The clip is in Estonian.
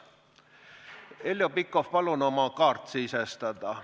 Heljo Pikhof, palun oma kaart sisestada.